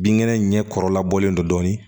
Binkɛnɛ ɲɛkɔrɔlabɔlen don dɔɔnin